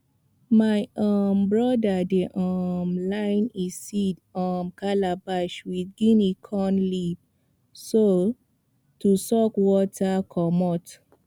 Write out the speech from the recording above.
my um brother dey um line e seed um calabash with guinea corn leaf to soak water commot